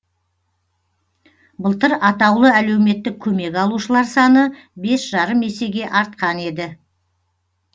былтыр атаулы әлеуметтік көмек алушылар саны бес жарым есеге артқан еді